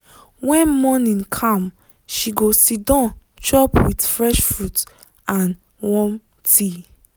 when morning calm she go siddon chop with fresh fruit and warm tea.